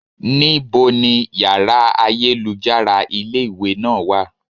Ní bo ni yàrá ayélujára ilé ìwé náà wà?